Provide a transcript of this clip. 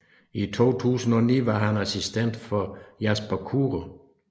I 2009 var han assistent for Jasper Kure